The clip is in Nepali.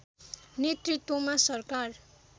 नेतृत्त्वमा सरकार